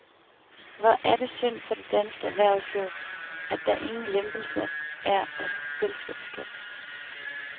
Hvor er det synd for det danske erhvervsliv, at der ingen lempelse er af selskabsskatten.